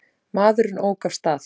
Maðurinn ók af stað.